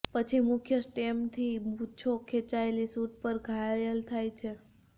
પછી મુખ્ય સ્ટેમથી મૂછો ખેંચાયેલી શૂટ પર ઘાયલ થાય છે